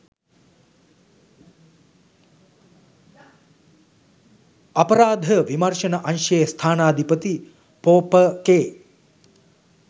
අපරාධ විමර්ශන අංශයේ ස්ථානාධිපති ‍පො.ප. කේ